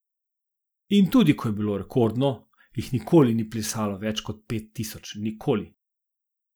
In tudi ko je bilo rekordno, jih nikoli ni plesalo več kot pet tisoč, nikoli.